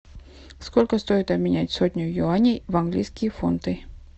сколько стоит обменять сотню юаней в английские фунты